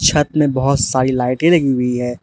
छत में बहुत सारी लाइट ए लगी हुई है।